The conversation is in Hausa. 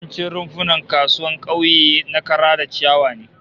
Yawancin rumfunan kasuwannin kauye na kara da ciyawa ne